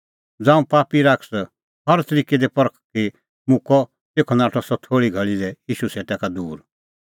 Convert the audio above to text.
ज़ांऊं पापी शैतान हर तरिकै दी परखी मुक्कअ तेखअ नाठअ सह थोल़ी घल़ी लै ईशू सेटा का दूर